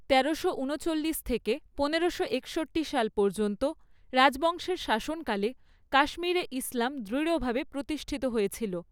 তেরোশো ঊনচল্লিশ থেকে পনেরোশো একষট্টি সাল পর্যন্ত রাজবংশের শাসনকালে কাশ্মীরে ইসলাম দৃঢ়ভাবে প্রতিষ্ঠিত হয়েছিল।